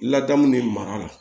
Ladamu de mara la